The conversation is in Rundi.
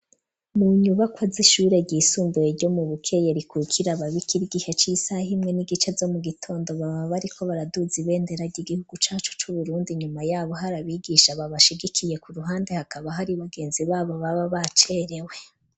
Mu nyubako z'ishure ryisumbuye ryo mu Bukeye rikukira babikira. Igihe c'isaha himwe n'igice zo mu gitondo baba bariko baraduze ibenderage igihugu cacu cu Burundi nyuma yabo harabigisha babashigikiye ku ruhande hakaba hari bagenzi babo baba bacerewe.